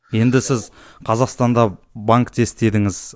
енді сіз қазақстанда банкте істедіңіз